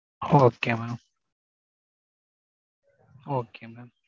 Okay Mam Okay Mam.